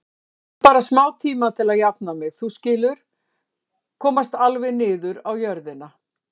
Ég þarf bara smátíma til að jafna mig, þú skilur, komast alveg niður á jörðina.